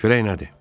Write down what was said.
Çörək nədir?